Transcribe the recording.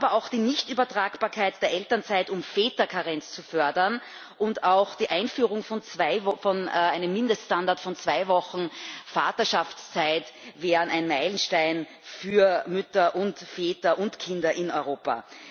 Aber auch die Nichtübertragbarkeit der Elternzeit, um Väterkarenz zu fördern, und auch die Einführung eines Mindeststandards von zwei Wochen Vaterschaftszeit wären ein Meilenstein für Mütter und Väter und Kinder in Europa.